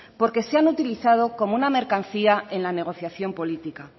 porque se han utilizado como una mercancía en la negociación política